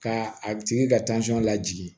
Ka a tigi ka lajigin